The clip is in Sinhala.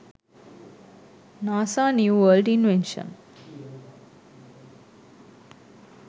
nasa new world invention